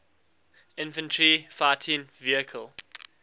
infantry fighting vehicle